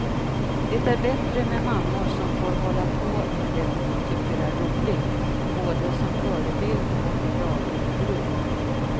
Det är bättre med mammor som får hålla på med det dom tycker är roligt, både som förebild och i dagligt bruk.